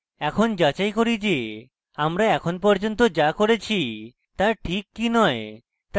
এখন যাচাই করি যে আমরা এখন পর্যন্ত যা করেছি তা ঠিক কি নয়